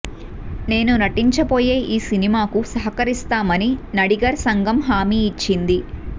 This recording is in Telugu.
నేను నటించబోయే ఈ సినిమాకు సహకరిస్తామని నడిగర్ సంఘం హామీ ఇచ్చింది